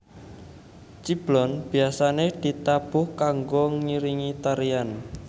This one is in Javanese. Ciblon biasane ditabuh kanggo ngiringi tarian